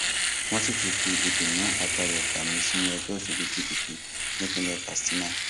wọn sì ti fi ìdùnnú àti ayọ gbà mí sínú ẹgbẹ òṣèlú pdp nípínlẹ katsina